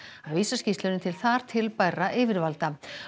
að vísa skýrslunni til þar til bærra yfirvalda